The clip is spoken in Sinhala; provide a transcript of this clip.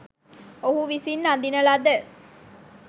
ඔහු විසින් අඳින ලද